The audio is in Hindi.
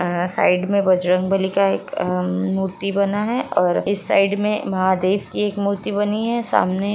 साइड में बजरंगबली का एक हम्म मूर्ति बना है और इस साइड में महादेव की एक मूर्ति बनी है सामने --